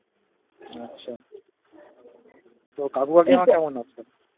আচ্ছা তো কাকু কাকিমা কেমন আছে?